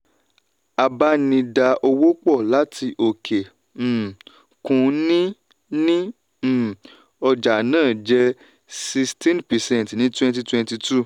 abá ní dá owó pò láti òkè um òkun ní ní um ọjà náà jẹ́ sixteen percent ní twenty twenty two[cs